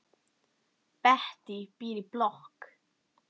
Bettý býr í blokk.